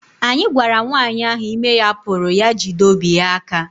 Anyị gwara nwanyị ahụ ime ya puru ya jide obi ya aka